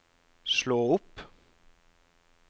slå opp